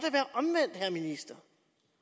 vi vidst